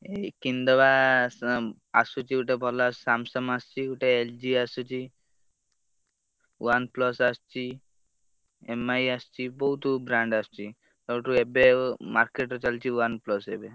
ହେଇ କିଣିଦବା ଆସୁଛି ଗୋଟେ ଭଲ Samsung ଆସୁଛି ଗୋଟେ LG ଆସୁଛି OnePlus ଆସୁଛି, MI ଆସିଛି, ବହୁତ brand ଆସିଛି। ସଉଠୁ ଏବେ ଆଉ market ର ଚାଲିଛି, OnePlus ଏବେ।